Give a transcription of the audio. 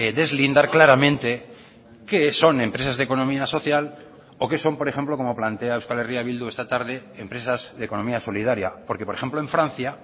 deslindar claramente qué son empresas de economía social o qué son por ejemplo como plantea euskal herria bildu esta tarde empresas de economía solidaria porque por ejemplo en francia